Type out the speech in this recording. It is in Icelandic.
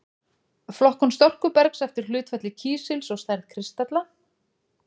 Flokkun storkubergs eftir hlutfalli kísils og stærð kristalla.